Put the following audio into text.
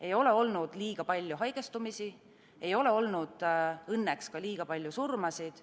Ei ole olnud liiga palju haigestumisi, ei ole olnud õnneks ka liiga palju surmasid.